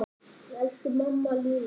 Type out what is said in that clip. Elsku amma Lína.